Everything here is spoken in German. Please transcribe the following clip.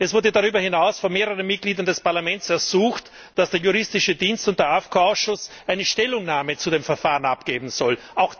Es wurde darüber hinaus von mehreren Mitgliedern des Parlaments darum ersucht, dass der Juristische Dienst und der AFCO Ausschuss eine Stellungnahme zu dem Verfahren abgeben sollen.